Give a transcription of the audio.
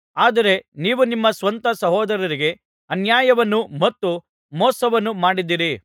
ಆದರೆ ನೀವು ನಿಮ್ಮ ಸ್ವಂತ ಸಹೋದರರಿಗೆ ಅನ್ಯಾಯವನ್ನು ಮತ್ತು ಮೋಸವನ್ನು ಮಾಡಿದ್ದೀರಿ